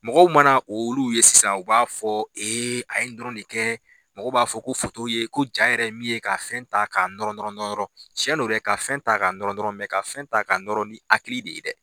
Mɔgɔw mana olu ye sisan ,u b'a fɔ a ye nin dɔrɔn de kɛ mɔgɔ b'a fɔ ko ye ko ja yɛrɛ ye min ye ka fɛn ta ka nɔrɔ nɔrɔ nɔrɔ. Tiɲɛn don dɛ , ka fɛn ta ka nɔrɔ nɔrɔ, ka fɛn ta ka nɔrɔ ni hakiliki de ye dɛ.